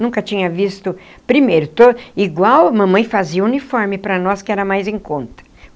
Nunca tinha visto... Primeiro, igual a mamãe fazia uniforme para nós que era mais em conta.